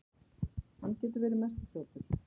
Hann getur verið mesti þrjótur.